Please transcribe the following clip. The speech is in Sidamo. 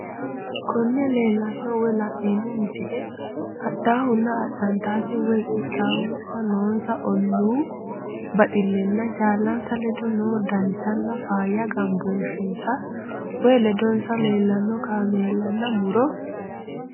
Konne lellano woy la'nemmo misile adhahunna adhanittate woy qixxawoosanna nossa ollu baxxilenna jallanissa leddo nossa danchanna fayya gambboshessa woy leddosa lellanoo kaamellana murro